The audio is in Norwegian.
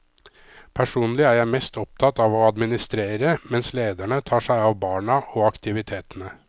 Personlig er jeg mest opptatt av å administrere, mens lederne tar seg av barna og aktivitetene.